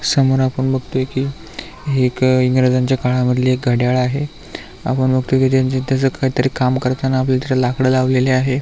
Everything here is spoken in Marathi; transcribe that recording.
समोर आपण बघतोय की हे एक इंग्रजांच्या काळातील मधले एक घडयाळ आहे आपण बघतोय की त्यांच त्याच काही तरी काम करताना आपल्याला तिथ लाकड लावलेली आहे.